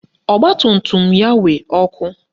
Ọgbatumtum ya nwe ọkụ